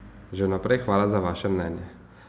Že vnaprej hvala za vaše mnenje.